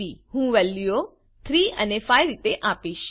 હું વેલ્યુઓ 3 અને 5 રીતે આપીશ